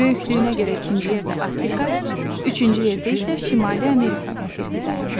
Böyüklüyünə görə ikinci yerdə Afrika, üçüncü yerdə isə Şimali Amerika materiki dayanır.